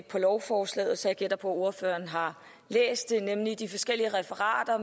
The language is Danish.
på lovforslaget så jeg gætter på at ordføreren har læst det nemlig de forskellige referater